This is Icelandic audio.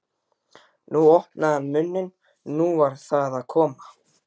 nú opnaði hann munninn. nú var það að koma!